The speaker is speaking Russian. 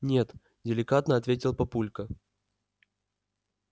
нет деликатно ответил папулька